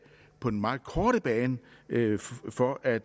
på den meget korte bane for at